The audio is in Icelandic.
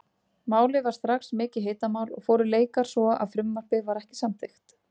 Málið varð strax mikið hitamál og fóru leikar svo að frumvarpið var ekki samþykkt.